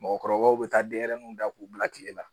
Mɔgɔkɔrɔbaw be taa denyɛrɛnin da k'u bila kile la